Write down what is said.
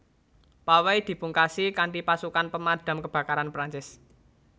Pawai dipungkasi kanthipasukan Pemadam Kebakaran Perancis